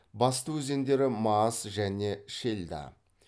басты өзендері маас және шельда